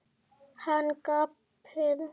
Hann gapir.